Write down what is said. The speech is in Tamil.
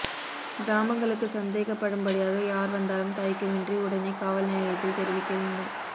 கிராமங்களுக்கு சந்தேகப்படும்படியாக யாா் வந்தாலும் தயக்கமின்றி உடனே காவல் நிலையத்தில் தெரிவிக்க வேண்டும்